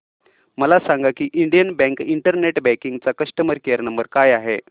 मला सांगा की इंडियन बँक इंटरनेट बँकिंग चा कस्टमर केयर नंबर काय आहे